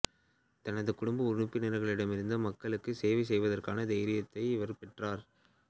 தனது குடும்ப உறுப்பினர்களிடமிருந்து மக்களுக்கு சேவை செய்வதற்கான தைரியத்தை இவர் பெற்றார்